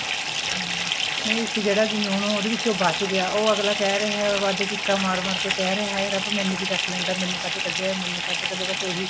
ਹਮ ਨਹੀਂ ਹੁਣ ਜਿਹੜਾ ਇੱਕ ਉਹ ਉਹਦੇ ਵਿੱਚੋਂ ਬਚ ਗਿਆ ਉਹ ਅਗਲਾ ਕਿਹ ਰਿਹਾ ਵੱਧ ਚੀਕਾਂ ਮਾਰ ਮਾਰ ਕੇ ਕਿਹ ਰਿਹਾ ਵੀ ਰੱਬ ਮੈਨੂੰ ਵੀ ਚੱਕ ਲੈਂਦਾ ਮੈਨੂੰ ਕਾਹਤੇ ਕੱਢਿਆ ਬੱਸ ਇਹੀ